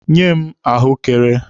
Nye m ahụekere!